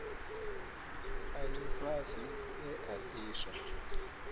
a lifhasi e a diswa